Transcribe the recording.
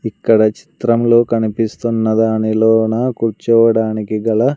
ఇక్కడ చిత్రం లో కనిపిస్తున్న దానిలోనా కూర్చోవడానికి గల--